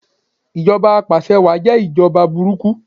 Ìjọba apàse wáà jẹ́ ìjọba burúkú